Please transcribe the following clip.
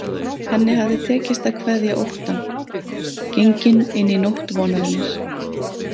Henni hafði tekist að kveðja óttann, gengin inn í nótt vonarinnar.